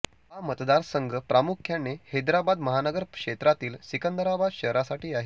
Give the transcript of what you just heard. हा मतदारसंघ प्रामुख्याने हैदराबाद महानगर क्षेत्रामधील सिकंदराबाद शहरासाठी आहे